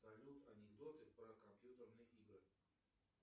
салют анекдоты про компьютерные игры